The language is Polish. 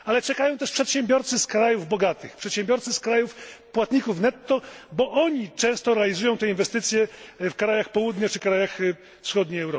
Ale czekają też przedsiębiorcy z krajów bogatych, przedsiębiorcy z krajów płatników netto, bo oni często realizują te inwestycje w krajach Południa czy krajach Europy Wschodniej.